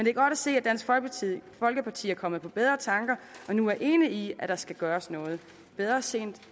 er godt at se at dansk folkeparti er kommet på bedre tanker og nu er enige i der skal gøres noget bedre sent